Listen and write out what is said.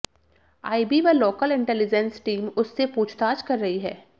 IB व local intelligence team उससे पूछताछ कर रही है